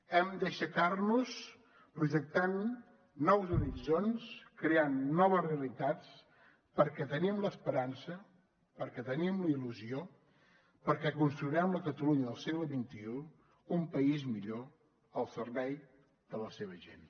hem d’aixecar nos projectant nous horitzons creant noves realitats perquè tenim l’esperança perquè tenim la il·lusió perquè construirem la catalunya del segle xxi un país millor al servei de la seva gent